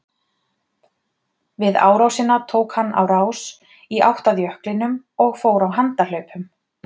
Við árásina tók hann á rás í átt að jöklinum og fór á handahlaupum.